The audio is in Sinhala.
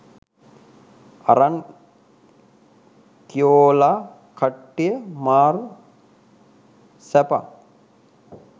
අරන් කියොලා කට්ටිය මාර සැපක්